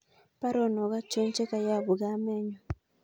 Baruonok achon chegoyopu kamenyun